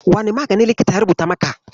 Wane magani likitan ya rubuta maka?